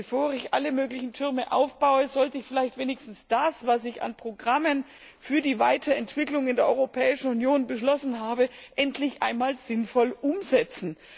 Bevor ich alle möglichen Türme aufbaue, sollte ich vielleicht wenigstens das, was ich an Programmen für die Weiterentwicklung in der Europäischen Union beschlossen habe, endlich einmal sinnvoll umsetzen.